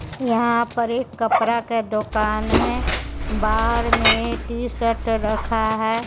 यहां पर एक कपड़ा का दोकान है बाहर में टी शर्ट रखा है।